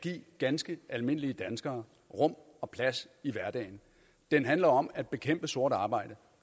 give ganske almindelige danskere rum og plads i hverdagen den handler om at bekæmpe sort arbejde